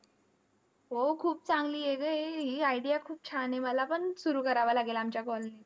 हो. खूप चांगली आहे गं हे, ही idea खूप छान आहे. मलापण सुरु करावं लागेल आमच्या colony त.